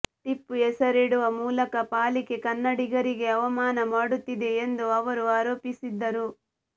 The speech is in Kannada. ಟಿಪ್ಪು ಹೆಸರಿಡುವ ಮೂಲಕ ಪಾಲಿಕೆ ಕನ್ನಡಿಗರಿಗೆ ಅವಮಾನ ಮಾಡುತ್ತಿದೆ ಎಂದು ಅವರು ಆರೋಪಿಸಿದ್ದರು